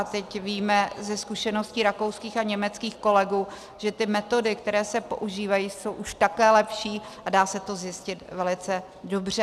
A teď víme ze zkušeností rakouských a německých kolegů, že ty metody, které se používají, jsou už také lepší a dá se to zjistit velice dobře.